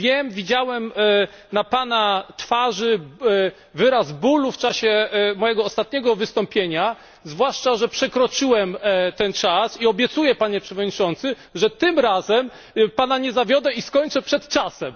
Widziałem na Pana twarzy wyraz bólu w czasie mojego ostatniego wystąpienia, zwłaszcza że przekroczyłem czas, ale obiecuję, Panie Przewodniczący, że tym razem Pana nie zawiodę i skończę przed czasem.